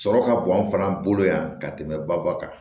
Sɔrɔ ka bon an fana bolo yan ka tɛmɛ baba kan